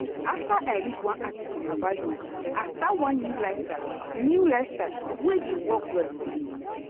after i read one article about yoga i start one new style new style wey dey work well for me.